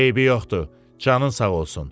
Eybi yoxdur, canın sağ olsun.